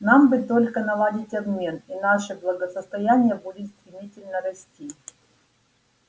нам бы только наладить обмен и наше благосостояние будет стремительно расти